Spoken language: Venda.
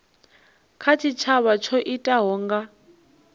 kha tshitshavha tsho itikaho nga